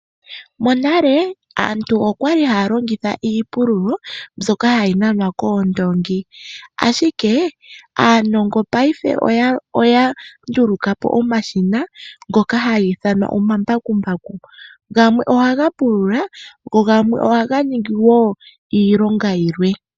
Monale aantu okwali haya longitha iipululo mbyoka hayi nanwa koondoongi. Ashike aanongo ngashingeyi oya nduluka po omashina ngoka haga ithanwa omambakumbaku. Gamwe ohaga pulula go gamwe ohaga ningi wo iilonga yilwe.